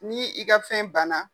N'i ka fɛn banna